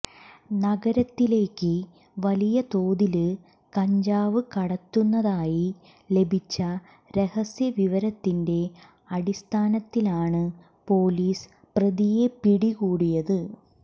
നഗരത്തിലേക്ക് വലിയതോതില് കഞ്ചാവ് കടത്തുന്നതായി ലഭിച്ച രഹസ്യ വിവരത്തിന്റെ അടിസ്ഥാനത്തിലാണ് പൊലീസ് പ്രതിയെ പിടികൂടിയത്